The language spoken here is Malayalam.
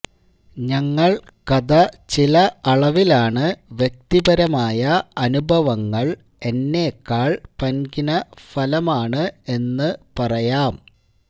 ഞങ്ങൾ കഥ ചില അളവിൽ ആണ് വ്യക്തിപരമായ അനുഭവങ്ങൾ എന്നെക്കാൾ പന്കിന ഫലമാണ് എന്ന് പറയാം